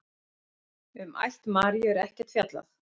Um ætt Maríu er ekkert fjallað.